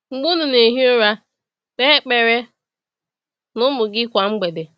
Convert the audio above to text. “Mgbe unu na-ehi ụra”: Kpe ekpere na ụmụ gị kwa mgbede.